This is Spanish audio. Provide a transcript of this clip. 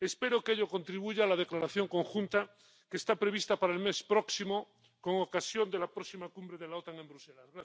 Espero que a ello contribuya a la declaración conjunta que está prevista para el mes próximo con ocasión de la próxima cumbre de la OTAN en Bruselas.